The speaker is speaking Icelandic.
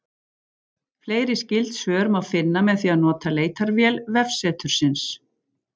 Fleiri skyld svör má finna með því að nota leitarvél vefsetursins.